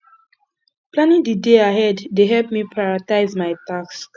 planning the day ahead dey help me prioritize my tasks